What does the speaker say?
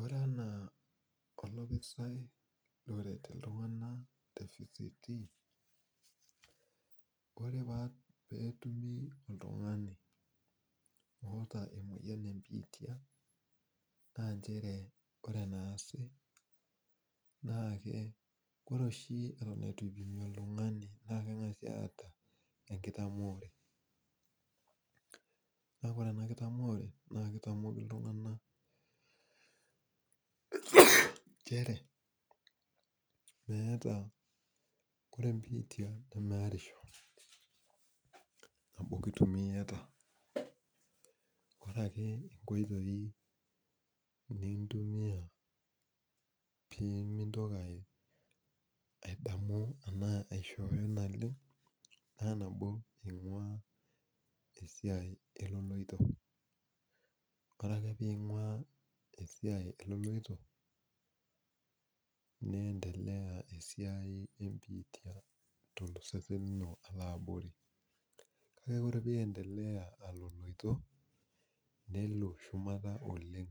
oree anaa olopisai oret iltunganak te VCT oree peetumi oltungani oata emoyian e bitia naa ncheree ore naasi naa ore oshi eton itu eipimi oltungani kengasai aata enkitamoore kaake ore ena kitamoore naa keitamoki iltunganak nchere ore biitia nemeerisho amu kitumi iata ore ake inkoitoi nintumia piimintoki aadamu ena aishoyo naleng naa nabo ingua esiai eloloito ore ake piingua esiai eloloito nentelea esiai ee bitia alo abori ore ake pientelea aloloito nelo shumata oleng